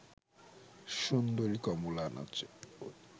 সুন্দরী কমলা নাচে